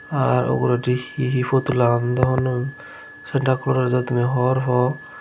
arr uguredi he he putul agonde sanata colos do tumi hogor poo.